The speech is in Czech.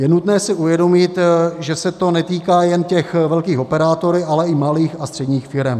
Je nutné si uvědomit, že se to netýká jen těch velkých operátorů, ale i malých a středních firem.